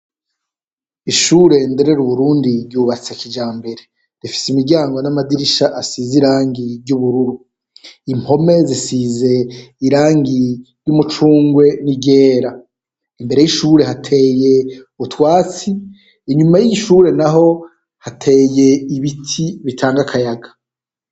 Ishure Ndereruburundi ryubatse kijambere, rifise imiryango n'amadirisha asize irangi ry'ubururu, impome zisize irangi ry'umucungwe n'iryera . Imbere y'ishure hateye utwatsi inyuma y'iyi shure naho hateye ibiti bitanga akayaga .